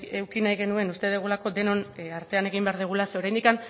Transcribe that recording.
eduki nahi genuen uste dugulako denon artean egin behar dugula zeren oraindik